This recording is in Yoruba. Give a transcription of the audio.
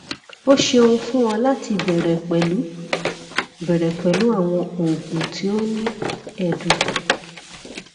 o ṣeun fun ọ lati bẹrẹ pẹlu bẹrẹ pẹlu awọn oogun ti o ni ẹdun